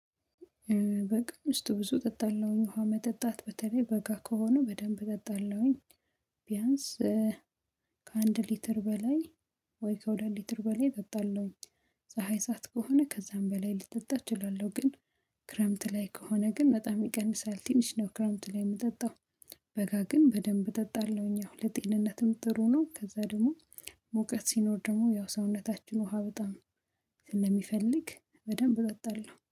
በቀን ውስጥ ብዙ ጠጣለሁኝ ውሃ መጠጣት በተለይ በጋ ከሆነ በደንብ ጠጣለሁኝ። ቢያንስ ከአንድ ሊትር በላይ ወይ ከሁለት ሊትር በላይ ጠጣለሁኝ። ፀሀይ ሰዓት ከሆነ ከዛም በላይ ልጠጣ እችላለሁ ግን። ክረምት ላይ ከሆነ ግን በጣም ይቀንሳል ትንሽ ነው ክረምት ላይ የምጠጣው። በጋ ግን በደንብ እጠጣለሁኝ አሁን ለጤንነትም ጥሩ ነው ከዛ ደግሞ። ሞቀት ሲኖር ደግሞ ያው ሰውነታችን ውሃ በጣም ስለሚፈልግ በደንብ እጠጣለሁ